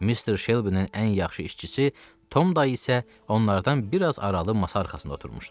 Mr. Shelby-nin ən yaxşı işçisi Tom dayı isə onlardan biraz aralı masa arxasında oturmuşdu.